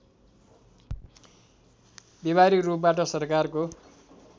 व्यावहारिक रूपबाट सरकारको